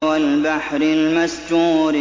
وَالْبَحْرِ الْمَسْجُورِ